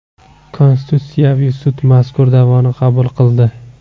Konstitutsiyaviy sud mazkur da’voni qabul qildi.